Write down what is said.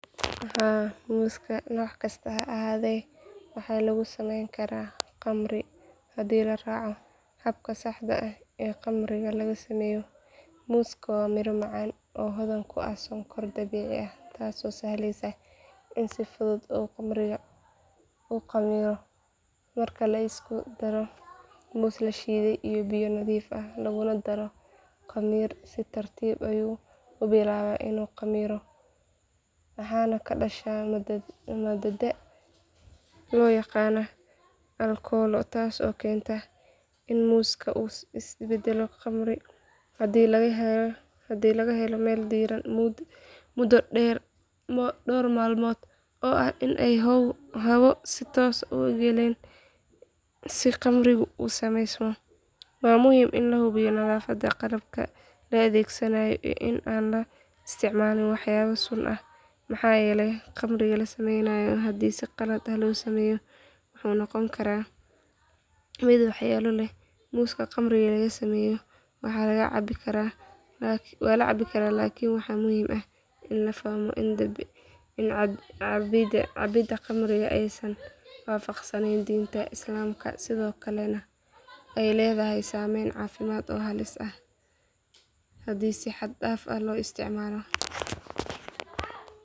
Haa, muuska noocaan ah waxa lagu samayn karaa khamriga muuska, waana hab caan ah oo laga isticmaalo meelo badan oo adduunka ah. Khamriga muuska waxaa laga sameeyaa muus bisil oo la shiiday, kadibna lagu daro biyo iyo sonkor si ay u bilaabato habka khamriga. Marka muuska la kariyo, khamiirka dabiiciga ah ee ku jira miraha ayaa bilaaba inuu qasmo, taasoo keenta in sonkorta lagu beddelo aalkolo. Khamriga muuska wuxuu leeyahay dhadhan macaan oo ka duwan khamriga laga sameeyo miro kale sida canabka ama tufaaxa. Sidoo kale, khamrigan wuxuu ka kooban yahay nafaqo badan oo muuska ku jirta, sida fitamiinada iyo macdanta muhiimka ah.